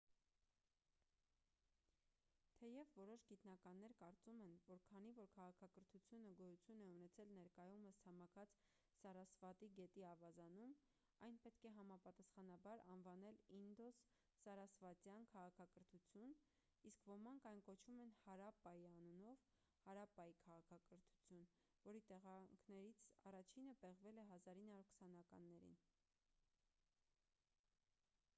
թեև որոշ գիտնականներ կարծում են որ քանի որ քաղաքակրթությունը գոյություն է ունեցել ներկայումս ցամաքած սարասվատի գետի ավազանում այն պետք է համապատասխանաբար անվանել ինդոս-սարասվատյան քաղաքակրթություն իսկ ոմանք այն կոչում են հարապպայի անունով հարապպայի քաղաքակրթություն որի տեղանքներներից առաջինը պեղվել է 1920-ականներին